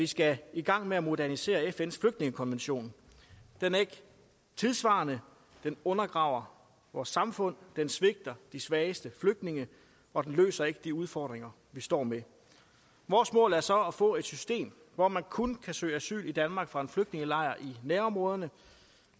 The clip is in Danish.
skal i gang med at modernisere fns flygtningekonvention den er ikke tidssvarende den undergraver vores samfund den svigter de svageste flygtninge og den løser ikke de udfordringer vi står med vores mål er så at få et system hvor man kun kan søge asyl i danmark fra en flygtningelejr i nærområderne